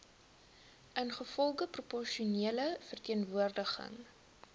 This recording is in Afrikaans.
ingevolge proporsionele verteenwoordiging